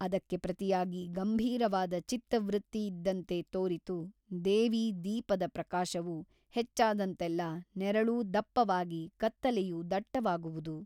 ಅದಕ್ಕೆ ಪ್ರತಿಯಾಗಿ ಗಂಭೀರವಾದ ಚಿತ್ತವೃತ್ತಿಯಿದ್ದಂತೆ ತೋರಿತು ದೇವಿ ದೀಪದ ಪ್ರಕಾಶವು ಹೆಚ್ಚಾದಂತೆಲ್ಲ ನೆರಳೂ ದಪ್ಪವಾಗಿ ಕತ್ತಲೆಯು ದಟ್ಟವಾಗುವುದು.